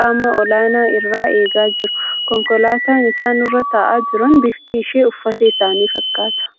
qaama olaanaa irraa eegaa jiru. Konkolaataa isaan irra taa'aa jiran bifti ishee uffatuma isaanii fakkaata.